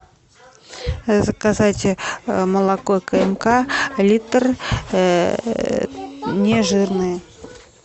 заказать молоко кмк литр не жирное